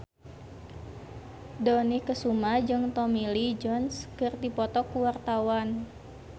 Dony Kesuma jeung Tommy Lee Jones keur dipoto ku wartawan